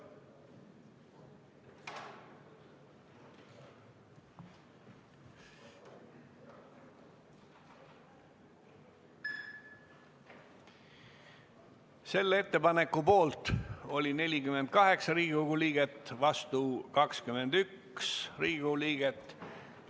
Selle ettepaneku poolt oli 48 Riigikogu liiget ja vastu 21 Riigikogu liiget.